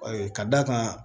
Ka d'a kan